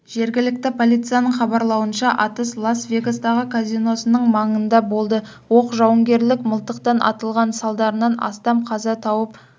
жергілікті полицияның хабарлауынша атыс лас-вегастағы казиносының маңында болды оқ жауынгерлік мылтықтан атылған салдарынан астам қаза тауып